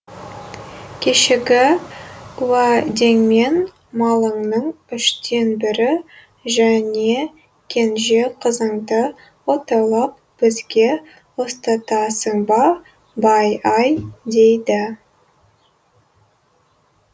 кешегі уәдеңмен малыңның үштен бірі және кенже қызыңды отаулап бізге ұстатасың ба бай ай дейді